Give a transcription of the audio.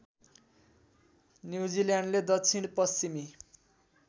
न्युजिल्यान्डले दक्षिण पश्चिमी